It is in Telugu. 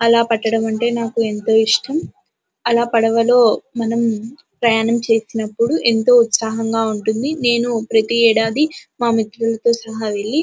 అలా పట్టడం అంటే నాకు ఎంతో ఇష్టం అలా పడవలో మనం ప్రయాణం చేసినప్పుడు ఏంతో ఉత్సాహంగా ఉంటుంది నేను ప్రతి ఏడాది మా మిత్రులతో సహా వెళ్ళి.